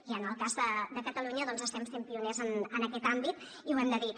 i en el cas de catalunya doncs estem sent pioners en aquest àmbit i ho hem de dir